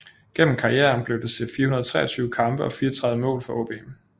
Gennem karrieren blev det til 423 kampe og 34 mål for AaB